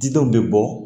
Didenw bɛ bɔ